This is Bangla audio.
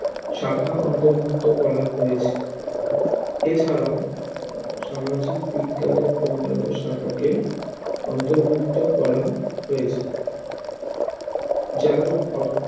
শাখা অন্তর্ভুক্ত করা হয়েছে এছাড়াও সামাজিক বিজ্ঞানের অন্নান্য শাখাকে অন্তর্ভুক্ত করা হয়েছে যেমন অর্থ